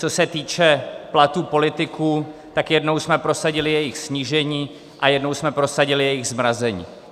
Co se týče platů politiků, tak jednou jsme prosadili jejich snížení a jednou jsme prosadili jejich zmrazení.